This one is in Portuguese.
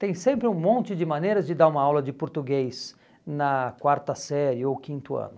Tem sempre um monte de maneiras de dar uma aula de português na quarta série ou quinto ano.